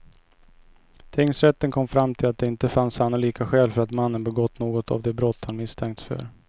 Tingsrätten kom fram till att det inte fanns sannolika skäl för att mannen begått något av de brott han misstänkts för.